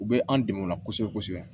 U bɛ an dɛmɛ o la kosɛbɛ kosɛbɛ